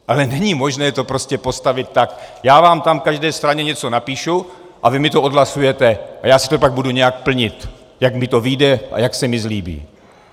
Ale není možné to prostě postavit tak - já vám tam každé straně něco napíšu a vy mi to odhlasujete a já si to pak budu nějak plnit, jak mi to vyjde a jak se mi zlíbí.